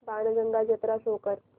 बाणगंगा जत्रा शो कर